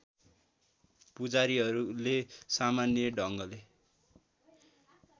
पुजारीहरूले सामान्य ढङ्गले